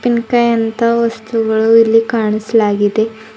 ಹಣ್ಕಾಯ್ ಅಂತ ವಸ್ತುಗಳು ಇಲ್ಲಿ ಕಾಣಿಸಲಾಗಿದೆ.